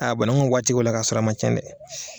A banakun bɛ waati 'o la ka sɔrɔ a ma cɛn dɛ!